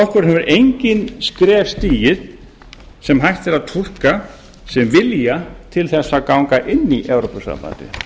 flokkurinn hefur engin skref stigið sem hægt er að túlka sem vilja til þess að ganga inn í evrópusambandið